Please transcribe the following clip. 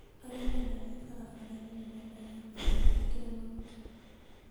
Arĩa mendagia barabara-inĩ nĩ mendagia ndibei njĩkĩre maguta.